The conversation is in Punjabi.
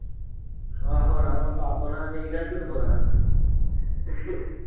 ਆਹੋ ਹੋਣਾ ਵਾਂ ਸਾ ਸੋਹਣਾ ਅਸੀਂ ਕਿਹੜਾ ਝੂਠ ਬੋਲਣਾ